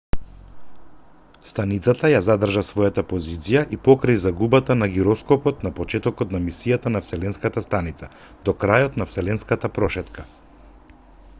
станицата ја задржа својата позиција и покрај загубата на гироскопот на почетокот на мисијата на вселенската станица до крајот на вселенската прошетка